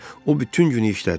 O bütün günü işlədi.